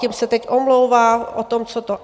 Tím se teď omlouvá o tom, co to...